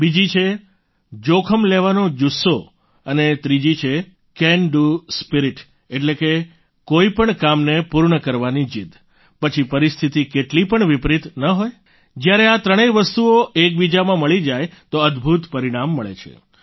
બીજી છે જોખમ લેવાનો જુસ્સો અને ત્રીજી છે કેન ડૂ સ્પિરીટ એટલે કે કોઈપણ કામને પૂર્ણ કરવાની જીદ પછી પરિસ્થિતી કેટલી પણ વિપરિત ન હોય જ્યારે આ ત્રણેય વસ્તુઓ એકબીજામાં મળી જાય તો અદભૂત પરિણામ મળે છે